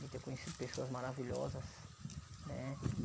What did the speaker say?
De ter conhecido pessoas maravilhosas, né?